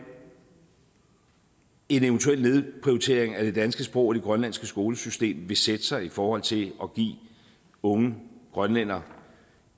en eventuel nedprioritering af det danske sprog i det grønlandske skolesystem vil sætte sig igennem i forhold til at give unge grønlændere